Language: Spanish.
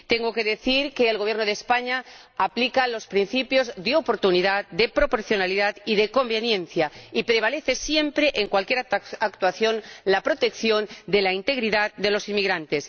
Tengo que decir que el Gobierno de España aplica los principios de oportunidad, de proporcionalidad y de conveniencia, y prevalece siempre en cualquier actuación la protección de la integridad de los inmigrantes.